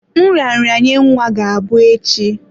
Nraranye nwa ga-abụ echi.